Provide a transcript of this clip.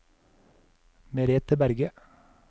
Merete Berge